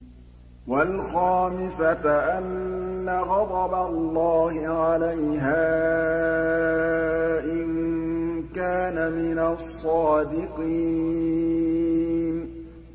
وَالْخَامِسَةَ أَنَّ غَضَبَ اللَّهِ عَلَيْهَا إِن كَانَ مِنَ الصَّادِقِينَ